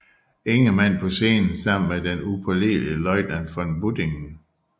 Ingemann på scenen sammen med den upålidelige løjtnant von Buddinge